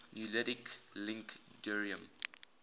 nuclide link deuterium